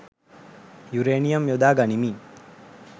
uranium යොදා ගනිමින්